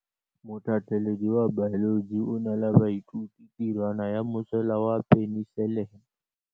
Motlhatlhaledi wa baeloji o neela baithuti tirwana ya mosola wa peniselene.